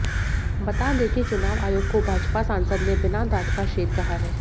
बता दें की चुनाव आयोग को भाजपा सांसद ने बिना दांत का शेर कहा है